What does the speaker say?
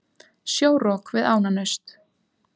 Sjórok við Ánanaust